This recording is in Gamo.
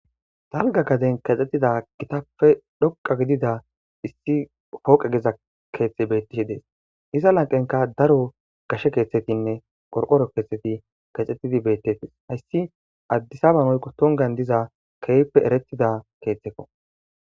Dalga gaden kaxxetida gitappe dhoqa gidida issi hooqe geza keeththe bettishi dees iza lanqenka daro gashe keeththetinne qorqoro keexheti kaxxetidi bettetes hayssi addisabanoyko tongan diza keehppe erettida keeththekko.